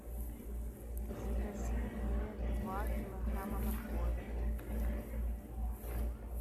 закажи мне два килограмма моркови